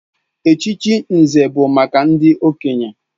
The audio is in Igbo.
Echichi Nze bụ maka ndị okenye.